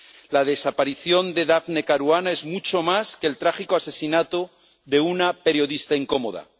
La desaparición de Daphne Caruana es mucho más que el trágico asesinato de una periodista incómoda.